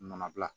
Nɔnɔ gilan